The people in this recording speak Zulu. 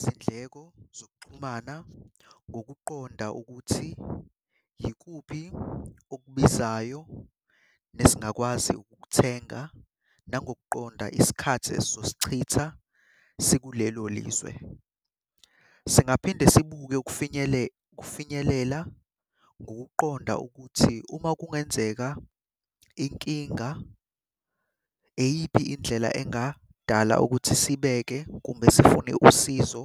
Izindleko zokuxhumana ngokuqonda ukuthi yikuphi okubizayo nesingakwazi ukukuthenga, nangokuqonda isikhathi esizosichitha sikulelo lizwe. Singaphinde sibuke ukufinyelela ngokuqonda ukuthi uma kungenzeka inkinga, iyiphi indlela engadala ukuthi sibeke kumbe sifune usizo